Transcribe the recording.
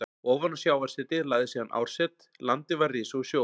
Ofan á sjávarsetið lagðist síðan árset, landið var risið úr sjó.